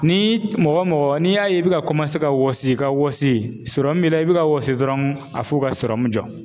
Ni mɔgɔ mɔgɔ n'i y'a ye i bɛ ka ka wɔsi ka wɔsi sɔrɔmu b'i la i bi ka wɔsi dɔrɔn a f'u ka sɔrɔmu jɔ.